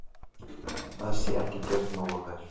Það sé ekki gert nógu vel.